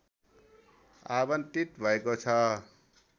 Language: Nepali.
आवन्टित भएको छ